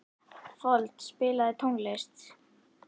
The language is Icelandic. Fold, spilaðu tónlist.